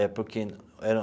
É porque era...